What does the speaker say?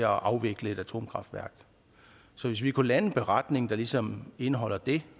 afvikle et atomkraftværk så hvis vi kunne lave en beretning der ligesom indeholder det